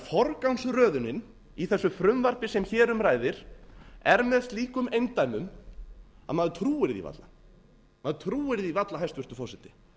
forgangsröðunin í þessu frumvarpi sem hér um ræðir er með slíkum eindæmum að maður trúir því varla hæstvirtur forseti